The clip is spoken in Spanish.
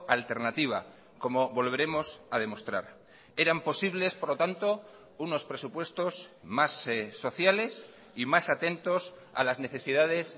alternativa como volveremos a demostrar eran posibles por lo tanto unos presupuestos más sociales y más atentos a las necesidades